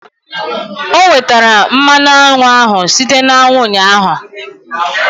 O nwetara mmanụ aṅụ ahụ site na aṅụ ụnyaahụ.